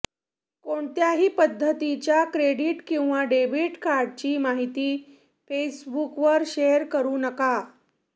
कोणत्याही पद्धतीच्या क्रेडिट किंवा डेबीट कार्डची माहिती फेसबुकवर शेअर करू नका